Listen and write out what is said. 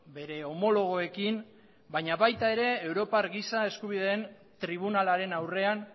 bere homologoekin baina baita europar giza eskubideen tribunalaren aurrean